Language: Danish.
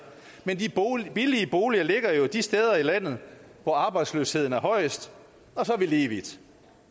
men de billige boliger ligger jo de steder i landet hvor arbejdsløsheden er højest og så er vi lige vidt